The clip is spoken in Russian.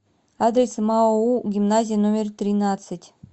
адрес маоу гимназия номер тринадцать